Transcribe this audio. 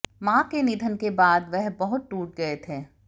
मां के निधन के बाद वह बहुत टूट गए थे